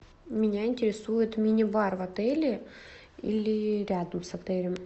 меня интересует мини бар в отеле или рядом с отелем